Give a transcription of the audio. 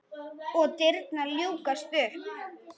Og dyrnar ljúkast upp.